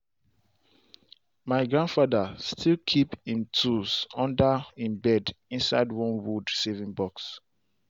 my grandfather still keep him tools under him bed inside one wood saving box.